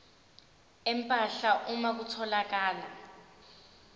empahla uma kutholakala